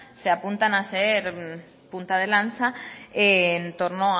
se apuntan a ser punta de lanza en torno